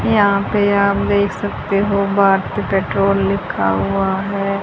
यहां पे आप देख सकते हो भारतीय पेट्रोल लिखा हुआ है।